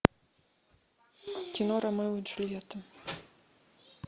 кино ромео и джульетта